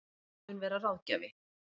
Hann mun vera ráðgjafi